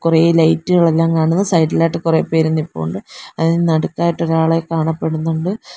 കുറേ ലൈറ്റുകൾ എല്ലാം കാണുന്നു സൈഡിൽ ആയിട്ട് കുറെ പേര് നിൽപ്പുണ്ട് അതിന് നടുക്കായിട്ട് ഒരാളെ കാണപ്പെടുന്നുണ്ട്.